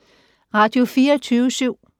Radio24syv